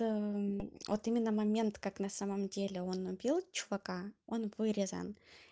вот именно момент как на самом деле он убил чувака он вырезан